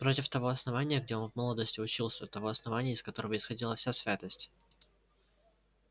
против того основания где он в молодости учился того основания из которого исходила вся святость